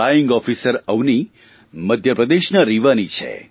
flying officer Avani મધ્યપ્રદેશના રીવાની છે